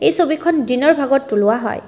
এই ছবিখন দিনৰ ভাগত তোলা হয়।